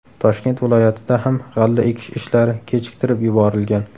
Toshkent viloyatida ham g‘alla ekish ishlari kechiktirib yuborilgan.